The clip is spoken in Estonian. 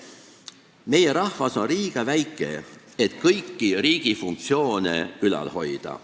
Meie rahvas on liiga väike, et kõiki riigi funktsioone ülal hoida.